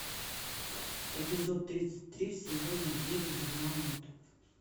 эпизод тридцать три сезона девять журнал мод